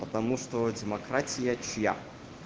потому что демократия чья